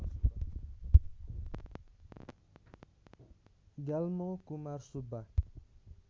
Gyalmo Kumar Subba